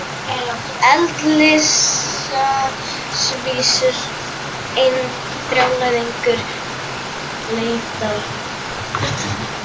Eðlisávísun: einn brjálæðingur leitar annan uppi, sagði